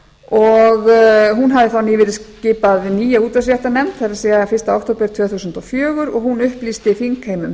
og hún hafði þá nýverið skipað hin nýja útvarpsréttarnefnd það er hinn fyrsta október tvö þúsund og fjögur og hún upplýsti þingheim um